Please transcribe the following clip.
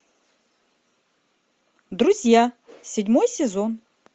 друзья седьмой сезон